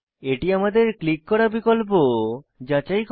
এটি আমাদের ক্লিক করা বিকল্প যাচাই করে